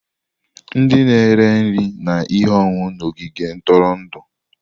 Ndị na-ere nri na ihe ọṅụṅụ na ogige ntụrụndụ.